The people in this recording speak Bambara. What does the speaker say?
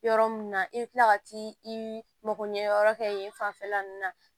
Yɔrɔ min na i bɛ tila ka t'i mago ɲɛyɔrɔ kɛ yen fanfɛla ninnu na